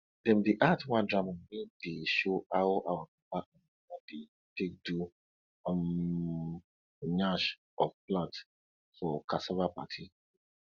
dem dey act one drama wey dey show how our papa and mama dey take do um nyash of plant for cassava party